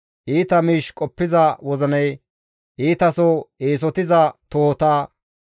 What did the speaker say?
iita miish qoppiza wozina, iitaso eesotiza tohota,